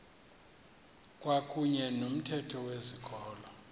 kwakuyne nomthetho wezikolo